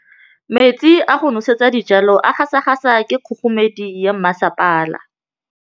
Metsi a go nosetsa dijalo a gasa gasa ke kgogomedi ya masepala.